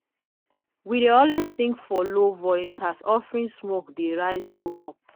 we dey always sing for low voice as offering smoke dey rise go up.